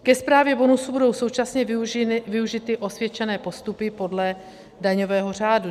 Ke správě bonusu budou současně využity osvědčené postupy podle daňového řádu.